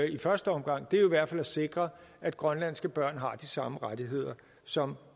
i første omgang er jo i hvert fald at sikre at grønlandske børn har de samme rettigheder som